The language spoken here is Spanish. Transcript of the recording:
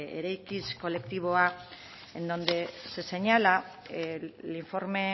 eraikiz kolektiboa en donde se señala el informe